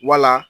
Wala